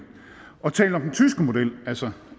og talt om den tyske model altså